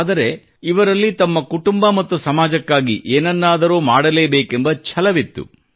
ಆದರೆ ಇವರಲ್ಲಿ ತಮ್ಮ ಕುಟುಂಬ ಮತ್ತು ಸಮಾಜಕ್ಕಾಗಿ ಏನನ್ನಾದರೂ ಮಾಡಲೇಬೇಕೆಂಬ ಛಲವಿತ್ತು